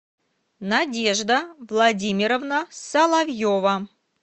надежда владимировна соловьева